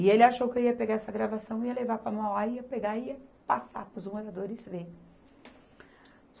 E ele achou que eu ia pegar essa gravação, ia levar para Mauá, ia pegar e ia passar para os moradores verem.